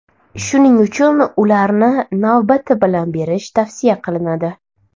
Shuning uchun ularni navbati bilan berish tavsiya qilinadi.